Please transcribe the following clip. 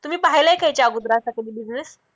तुम्ही पहिला आहे का याच्या अगोदर असा कधी business